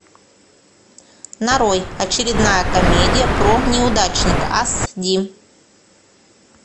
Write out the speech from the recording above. нарой очередная комедия про неудачника ас ди